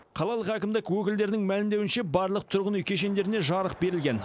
қалалық әкімдік өкілдерінің мәлімдеуінше барлық тұрғын үй кешендеріне жарық берілген